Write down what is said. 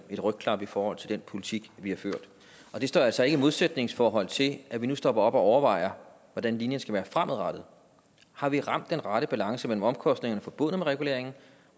et rygklap i forhold til den politik vi har ført men det står altså ikke i et modsætningsforhold til at vi nu stopper op og overvejer hvordan linjen skal være fremadrettet har vi ramt den rette balance mellem omkostningerne forbundet med reguleringen